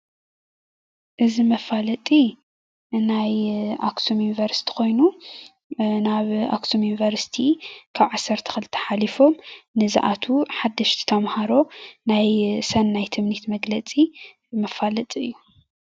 እዚ መፋለጢ ናይ ኣክሱም ዩኒቨርስቲ ኮይኑ ናብ ኣክሱም ዩኒቨርሲቲ ካብ 12 ሓሊፎም ንዝኣትዉ ሓደሽቲ ተምሃሮ ናይ ሰናይ ትምኒት መግለፂ መፋለጢ እዩ።